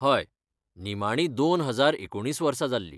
हय, निमाणी दोन हजार एकुणीस वर्सा जाल्ली.